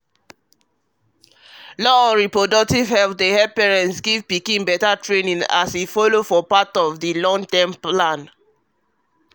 law on reproductive health dey help parents give pikin better training as e follow for part of long-term plan